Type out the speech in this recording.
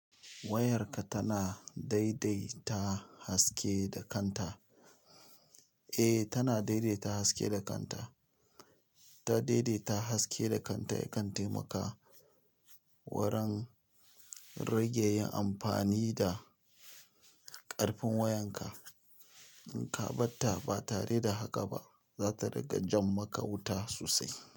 Wayarka tana daidaita haske da kanta. Eh, tana daidaita haske da kanta. Ta daidaita haske da kanta ya kan taimaka wurin rage yin amfani da ƙarfin wayanka. In ka ɓatta ba tare da haka ba, za ta rage jan maka wuta sosai.